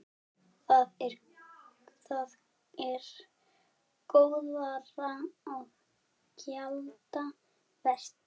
Það er góðra gjalda vert.